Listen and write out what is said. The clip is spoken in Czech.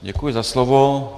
Děkuji za slovo.